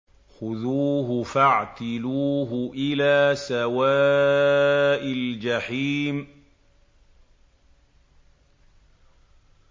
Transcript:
خُذُوهُ فَاعْتِلُوهُ إِلَىٰ سَوَاءِ الْجَحِيمِ